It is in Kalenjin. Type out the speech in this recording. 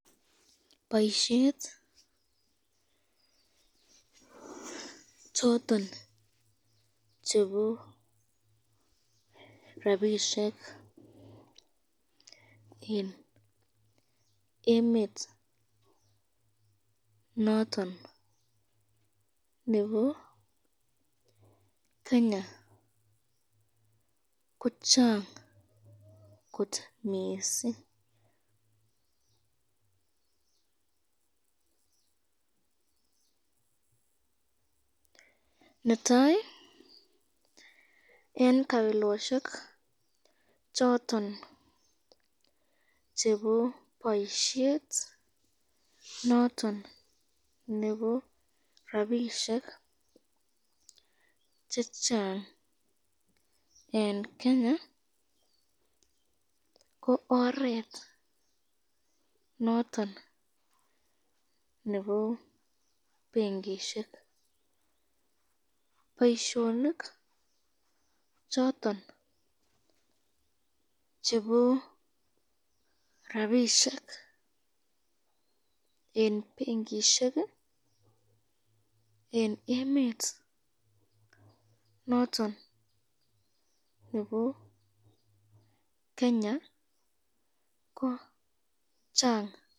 boisyet choton chebo rapishek eng emet not on nebo Kenya, ko chang kot mising, netai eng kabiloshek choton chebo boisyet not on nebo rapishek chechsn eng Kenya ko oret not on nebo benkoshek, boisyonik choton chebo rapishek eng benkishek eng emet not on nebo Kenya ko chang